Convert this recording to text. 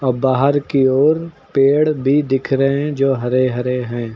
और बाहर की ओर पेड़ भी दिख रहे हैं जो हरे हरे हैं।